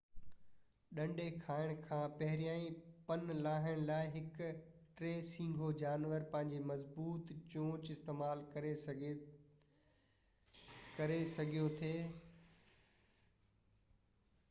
ڏنڍي کائڻ کان پهريان پن لاهڻ لاءَ هڪ ٽي سينگهو جانور پنهنجي مضبوط چونچ استعمال ڪري سگهيو ٿي